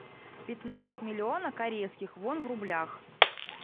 пятнадцать миллионов корейских вон в рублях